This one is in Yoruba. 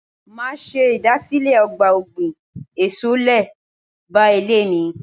Máa ṣe ìdásílẹ̀ ọgbà ọ̀gbìn èso lé báà ilé mi.